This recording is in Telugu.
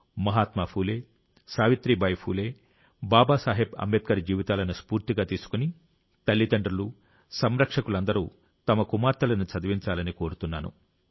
మహాత్మా ఫూలే సావిత్రీబాయి ఫూలే బాబాసాహెబ్ అంబేద్కర్ జీవితాలను స్ఫూర్తిగా తీసుకుని తల్లిదండ్రులు సంరక్షకులందరూ తమ కుమార్తెలను చదివించాలని కోరుతున్నాను